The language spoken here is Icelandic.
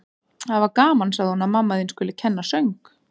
Það var gaman, sagði hún: Að mamma þín skuli kenna söng.